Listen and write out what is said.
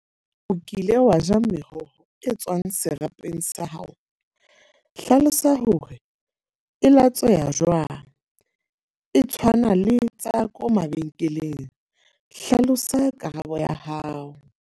O kile wa ja meroho e tswang serapeng sa hao. Hlalosa hore e latsweha jwang, e tshwana le tsa ko mabenkeleng. Hlalosa karabo ya hao.